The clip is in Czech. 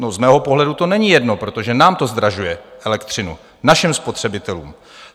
No, z mého pohledu to není jedno, protože nám to zdražuje elektřinu, našim spotřebitelům.